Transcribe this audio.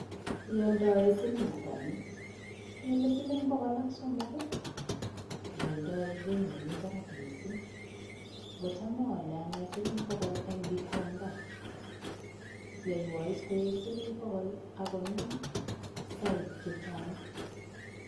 Oldoen siling'ata ni? Kele siling' pokol ak somok ii, ioldoen beit nemi barak missing'. Kocham oolen ane siling' pokol en Gikomba, yoiwon is koik siling' pokol ok konom soib chechang'.